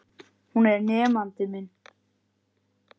Hún var nemandi minn.